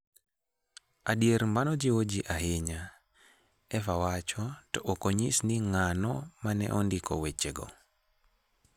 Adier, mano jiwo ji ahinya, Eva wacho, to ok onyis ni ng'ano ma ne ondiko wechego.